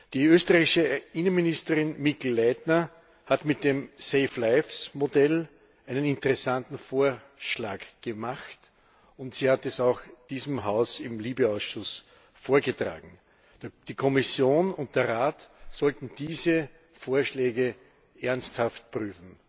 Die österreichische Innenministerin Mikl Leitner hat mit dem Safe Lives Modell einen interessanten Vorschlag gemacht, und sie hat dieses Modell auch diesem Haus im LIBE Ausschuss vorgetragen. Die Kommission und der Rat sollten diese Vorschläge ernsthaft prüfen.